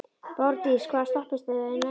Borgdís, hvaða stoppistöð er næst mér?